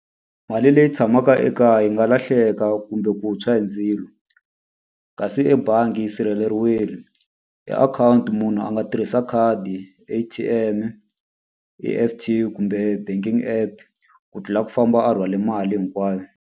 Mali leyi tshamaka ekaya yi nga lahleka kumbe ku tshwa hi ndzilo, kasi ebangi yi sirheleriwile. Hi akhawunti munhu a nga tirhisa khadi A_T_M-e, E_F_T kumbe banking app, ku tlula ku famba a rhwale mali hinkwayo.